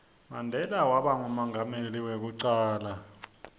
mandela waba ngumengameli weku cala